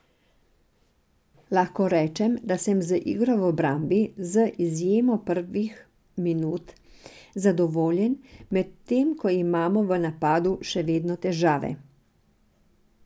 Lahko rečem, da sem z igro v obrambi, z izjemo prvih minut, zadovoljen, medtem ko imamo v napadu še vedno težave.